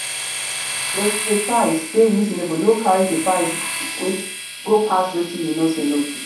de price dey reasonable no carry di price go pass wetin you know sey no good